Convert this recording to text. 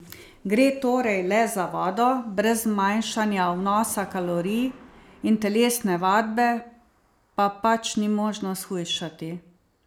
Gre torej le za vodo, brez zmanjšanja vnosa kalorij in telesne vadbe pa pač ni možno shujšati.